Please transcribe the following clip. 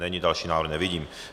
Není, další návrh nevidím.